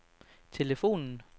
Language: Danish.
telefonen